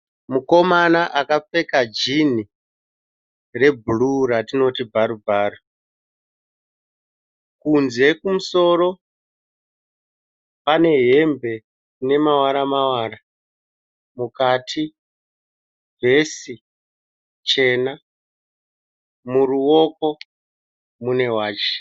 Mukomana akapfeka jinhi rebhuruwu ratinoti bvaru bvaru. Kunze kumusoro, ane hembe inamavara mavara. Mukati vhesi chena, muruoko mune wachi.